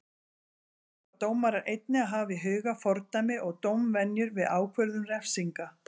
Þá þurfa dómarar einnig að hafa í huga fordæmi og dómvenjur við ákvörðun refsinga.